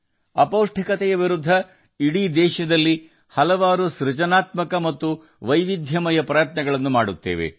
ಅಪೌಷ್ಟಿಕತೆಯ ವಿರುದ್ಧ ದೇಶದಾದ್ಯಂತ ಅನೇಕ ಸೃಜನಶೀಲ ಮತ್ತು ವೈವಿಧ್ಯಮಯ ಪ್ರಯತ್ನಗಳನ್ನು ಮಾಡಲಾಗುತ್ತಿದೆ